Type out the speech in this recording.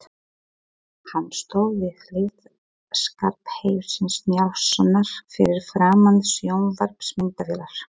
Hann stóð við hlið Skarphéðins Njálssonar fyrir framan sjónvarpsmyndavélar.